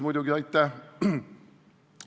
Muidugi jutumärkides "aitäh".